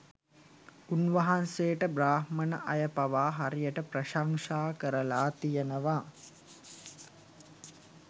උන්වහන්සේට බ්‍රාහ්මණ අය පවා හරියට ප්‍රශංසා කරලා තියෙනවා